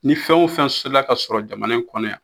Ni fɛn o fɛn sola ka sɔrɔ jamana in kɔnɔ yan